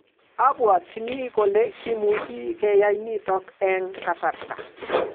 abuatchini kole kimuchi keyai nitok eng kasarta